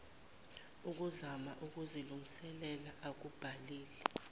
ukuzama ukuzilungisela akubhalile